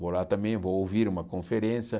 Vou lá também, vou ouvir uma conferência.